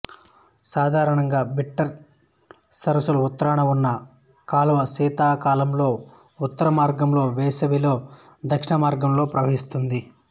సాధారణంగా బిట్టరు సరస్సుల ఉత్తరాన ఉన్న కాలువ శీతాకాలంలో ఉత్తరమార్గంలో వేసవిలో దక్షిణమార్గంలో ప్రవహిస్తుంది